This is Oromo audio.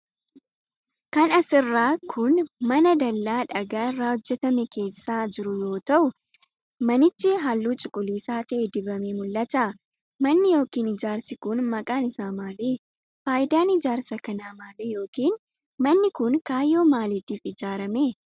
Kan as irraa kun, mana dallaa dhagaa irraa hojjatame keessa jiru yoo ta'u, manichi haalluu cuquliisa ta'e dibamee mul'ata. Manni yokin ijaarsi kun maqaan isaa maali? Faayidaan ijaarsa kanaa maali yokin manni kun kaayyoo maalitiif ijaarame?